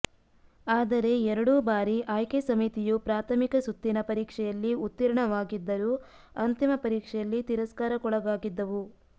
ಆದರೆ ಎರಡೂ ಬಾರಿ ಆಯ್ಕೆ ಸಮಿತಿಯು ಪ್ರಾಥಮಿಕ ಸುತ್ತಿನ ಪರೀಕ್ಷೆಯಲ್ಲಿ ಉತ್ತೀರ್ಣವಾಗಿದ್ದರೂ ಅಂತಿಮ ಪರೀಕ್ಷೆಯಲ್ಲಿ ತಿರಸ್ಕಾರಕ್ಕೊಳಗಾಗಿದ್ದವು